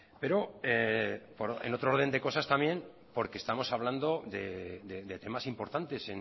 pero en otro orden de cosas también porque estamos hablando de temas importantes